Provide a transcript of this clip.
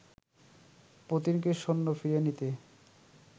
পুতিনকে সৈন্য ফিরিয়ে নিতে